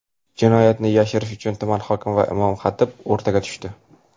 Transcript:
Jinoyatni yashirish uchun tuman hokimi va imom-xatib o‘rtaga tushdi.